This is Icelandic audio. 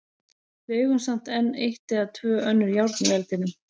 Við eigum samt enn eitt eða tvö önnur járn í eldinum.